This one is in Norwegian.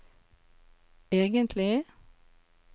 egentlig